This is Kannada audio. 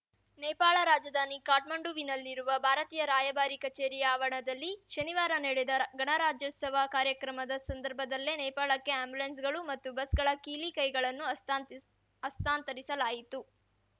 ನೇಪಾಳ ರಾಜಧಾನಿ ಕಾಠ್ಮಂಡುವಿನಲ್ಲಿರುವ ಭಾರತೀಯ ರಾಯಭಾರಿ ಕಚೇರಿಯ ಆವರಣದಲ್ಲಿ ಶನಿವಾರ ನಡೆದ ಗಣರಾಜ್ಯೋತ್ಸವ ಕಾರ್ಯಕ್ರಮದ ಸಂದರ್ಭದಲ್ಲೇ ನೇಪಾಳಕ್ಕೆ ಆ್ಯಂಬುಲೆನ್ಸ್‌ಗಳು ಮತ್ತು ಬಸ್‌ಗಳ ಕೀಲಿ ಕೈಗಳನ್ನು ಹಸ್ತಾಂತ ಹಸ್ತಾಂತರಿಸಲಾಯಿತು